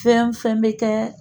Fɛn fɛn bɛ kɛ